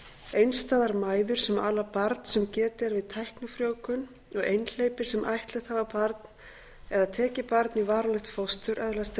einstæðar mæður sem ala barn sem getið er við tæknifrjóvgun og einhleypir sem ættleitt hafa barn eða tekið barn í varanlegt fóstur öðlast